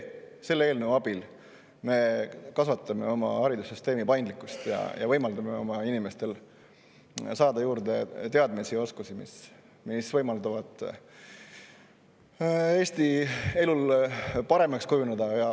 Selle eelnõu abil me suurendame oma haridussüsteemi paindlikkust ja anname inimestele võimaluse saada juurde teadmisi ja oskusi, mis võimaldavad Eesti elu parandada.